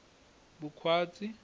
vukhwatsi